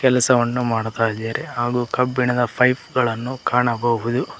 ಕೆಲಸವನ್ನು ಮಾಡುತ್ತಾ ಇದ್ದಾರೆ ಹಾಗು ಕಬ್ಬಿಣದ ಫ್ಯ್ಪ್ ಗಳನ್ನು ಕಾಣಬಹುದು.